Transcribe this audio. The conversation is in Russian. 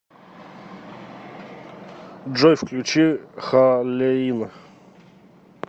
джой включи халеин